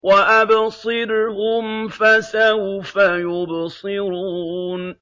وَأَبْصِرْهُمْ فَسَوْفَ يُبْصِرُونَ